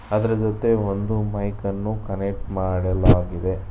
ಅದರ ಜೊತೆ ಒಂದು ಮೈಕ ನ್ನು ಕನೆಕ್ಟ್ ಮಾಡಲಾಗಿದೆ.